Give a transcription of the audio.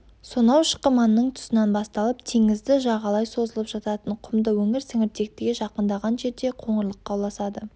сонау шықыманның тұсынан басталып теңізді жағалай созылып жататын құмды өңір сіңіртектіге жақындаған жерде қоңырлыққа ұласады